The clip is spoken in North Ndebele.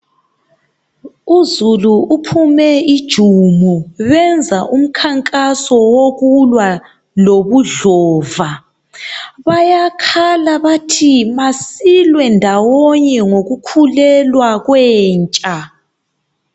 Uzulu uphume ijumo benza umkhankaso wokulwa lobudlova. Bayakhala bathi masilwe ndawonye ngokukhulelwa kwentsha